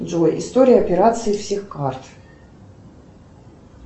джой история операций всех карт